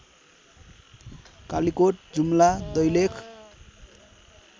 Kalikot Jumla Dailekh